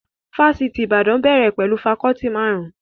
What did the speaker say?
Ifásitì Ìbàdàn bẹ̀rẹ̀ pẹ̀lú fakọọti marun-un